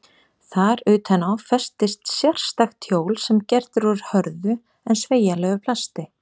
Þar utan á festist sérstakt hjól sem gert er úr hörðu en sveigjanlegu plasti.